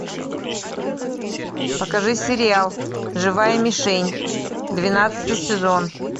покажи сериал живая мишень двенадцатый сезон